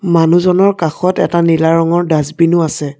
মনুহজনৰ কাষত এটা নীলা ৰঙৰ ডাচবিনও আছে।